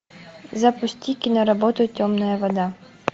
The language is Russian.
запусти киноработу темная вода